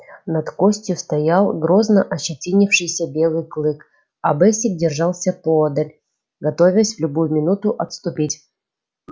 над костью стоял грозно ощетинившийся белый клык а бэсик держался поодаль готовясь в любую минуту отступить